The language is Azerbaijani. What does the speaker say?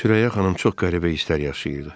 Sürəyya xanım çox qəribə hisslər yaşayırdı.